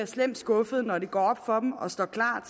slemt skuffede når det går op for og står klart